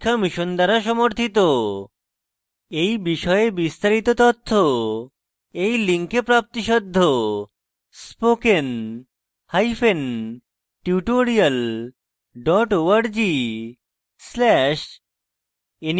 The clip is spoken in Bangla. এই বিষয়ে বিস্তারিত তথ্য এই link প্রাপ্তিসাধ্য